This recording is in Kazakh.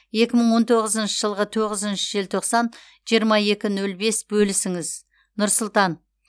екі мың он тоғызыншы жылғы тоғызыншы желтоқсан жиырма екі нөл бес бөлісіңіз нұр сұлтан